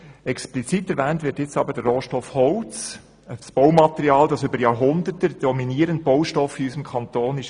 Explizit erwähnt wird der Rohstoff Holz, ein Baumaterial, das über Jahrhunderte der dominierende Baustoff in unserem Kanton war.